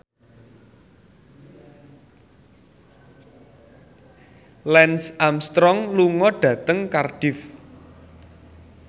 Lance Armstrong lunga dhateng Cardiff